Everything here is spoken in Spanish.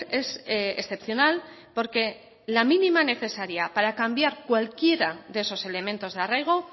es excepcional porque la mínima necesaria para cambiar cualquiera de esos elementos de arraigo